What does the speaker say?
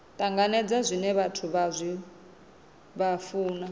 tanganedza zwine vhathu vha funa